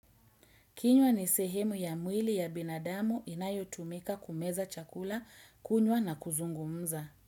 Kinywa ni sehemu ya mwili ya binadamu inayo tumika kumeza chakula kunywa na kuzungumza.